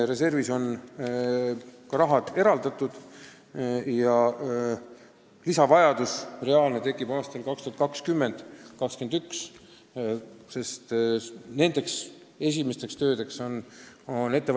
Reservist on ka raha eraldatud, et kui aastatel 2020–2021 tekib lisaraha vajadus, siis selle saab.